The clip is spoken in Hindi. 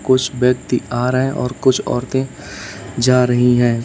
कुछ व्यक्ति आ रहे हैं और कुछ औरतें जा रही हैं।